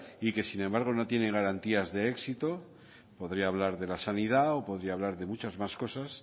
y que sin embargo no tienen garantías de éxito podría hablar de la sanidad o podría hablar de muchas más cosas